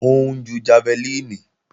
Ó ń ju jafẹlíìnì